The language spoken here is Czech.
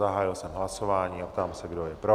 Zahájil jsem hlasování a ptám se, kdo je pro?